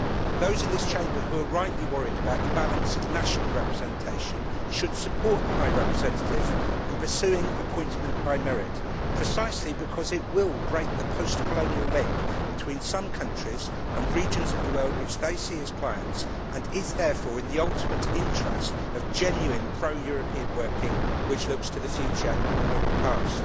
Those in this Chamber who are rightly worried about the balance of national representation should support the High Representative in pursuing appointment by merit, precisely because it will break the post colonial link between some countries and regions of the world which they see as clients, and it is therefore in the ultimate interest of genuine pro European working which looks to the future and not the past.